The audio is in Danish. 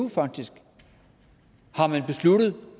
faktisk har man